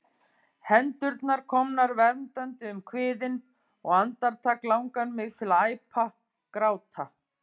Hendurnar komnar verndandi um kviðinn, og andartak langar mig til að æpa, gráta.